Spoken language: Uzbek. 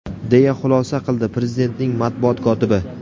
deya xulosa qildi Prezidentning matbuot kotibi.